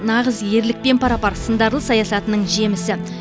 нағыз ерлікпен пара пар сындарлы саясатының жемісі